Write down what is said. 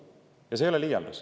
Ja see ei ole liialdus.